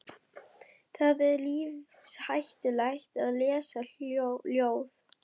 Það er lífshættulegt að lesa ljóð.